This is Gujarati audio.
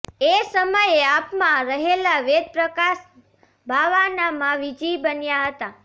એ સમયે આપમાં રહેલા વેદ પ્રકાશ બાવાનામાં વિજયી બન્યા હતા